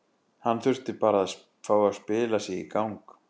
Hann þurfti bara að fá að spila sig í gang.